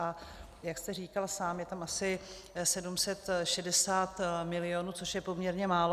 A jak jste říkal sám, je tam asi 760 milionů, což je poměrně málo.